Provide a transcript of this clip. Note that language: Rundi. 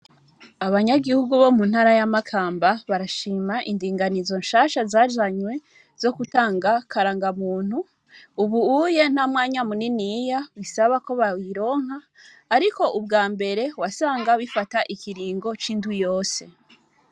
Abanyagihugu bo mu ntara ya Makamba barashima indinganizo nshasha zazanywe zo gutanga karangamuntu. Ubu uye ntamwanya muniniya bisaba ko bayironka, ariko ubwa mbere wasanga bifata ikiringo c'indwi yose.